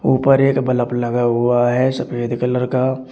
ऊपर एक बलब लगा हुआ है सफेद कलर का।